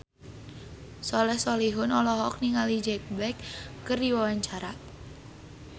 Soleh Solihun olohok ningali Jack Black keur diwawancara